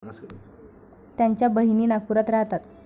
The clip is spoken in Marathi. त्याच्या बहिणी नागपुरात राहतात.